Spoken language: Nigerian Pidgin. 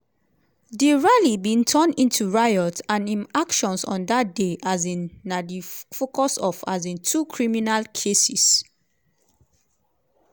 di rally bin turn into riot and im actions on dat day um na di focus of um two criminal cases.